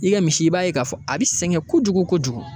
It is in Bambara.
I ka misi i b'a ye k'a fɔ a bi sɛgɛn kojugu kojugu